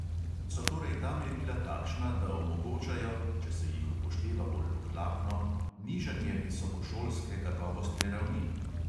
So torej ta merila takšna, da omogočajo – če se jih upošteva bolj ohlapno – nižanje visokošolske kakovostne ravni?